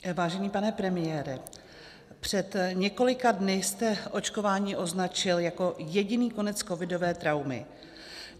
Vážený pane premiére, před několika dny jste očkování označil jako jediný konec covidové traumy.